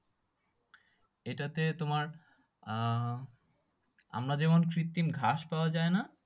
এটাতে তোমার আহ আমরা যেমন কৃতিম ঘাস পাওয়া যাই না